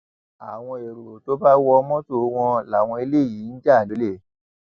àwọn ẹrọ tó bá wọ mọtò wọn làwọn eléyìí ń jà lọlẹ